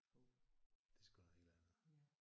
Det er sgu noget helt andet